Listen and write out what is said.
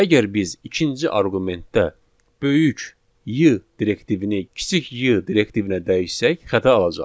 Əgər biz ikinci arqumentdə böyük Y direktivini kiçik y direktivinə dəyişsək, xəta alacağıq.